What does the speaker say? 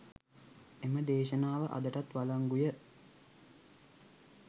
එම දේශනාව අදටත් වලංගුය.